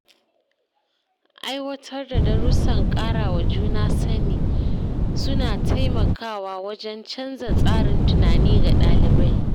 Aiwatar da darussan kara wa juna sani suna taimakawa wajen canza tsarin tunani ga ɗalibai.